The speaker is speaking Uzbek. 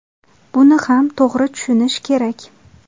Buni ham to‘g‘ri tushunish kerak.